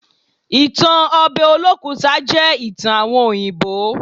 Ìtan obe Olókùta jẹ́ ìtan àwon òyìnbó.